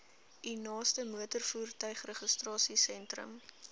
u naaste motorvoertuigregistrasiesentrum